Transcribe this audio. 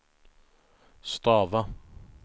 stava